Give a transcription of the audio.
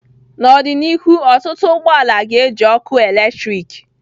N'ọdịnihu ọtụtụ ụgbọ ala ga-eji ọkụ eletrik.